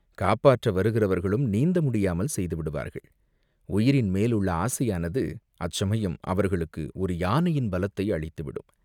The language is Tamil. காப்பாற்ற வருகிறவர்களும் நீந்த முடியாமல் செய்து விடுவார்கள், உயிரின் மேலுள்ள ஆசையானது அச்சமயம் அவர்களுக்கு ஒரு யானையின் பலத்தை அளித்துவிடும்.